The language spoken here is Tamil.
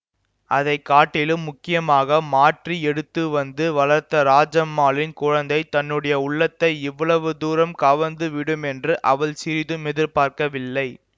அதை காட்டிலும் முக்கியமாக மாற்றி எடுத்து வந்து வளர்த்த ராஜம்மாளின் குழந்தை தன்னுடைய உள்ளத்தை இவ்வளவு தூரம் கவர்ந்து விடும் என்று அவள் சிறிதும் எதிர்பார்க்கவில்லை